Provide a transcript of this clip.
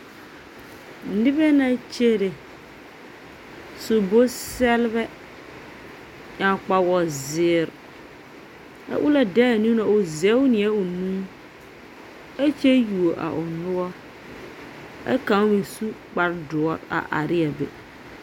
Nobԑ na kyere, su bonsԑlebԑ, ԑŋ kpawoozeere. A onaŋ de a niŋe o zԑge naa o nu a kyԑ yuo o noͻre ԑ kaŋ meŋ su kpare dõͻre a are ne a be.